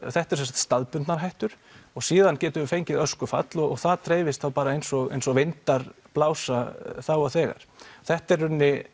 þetta eru sem sagt staðbundnar hættur síðan getum við fengið öskufall og það dreifist þá bara eins og eins og vindar blása þá og þegar þetta er í rauninni